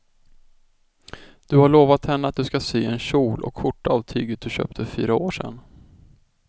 Du har lovat henne att du ska sy en kjol och skjorta av tyget du köpte för fyra år sedan.